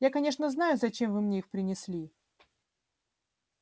я конечно знаю зачем вы мне их принесли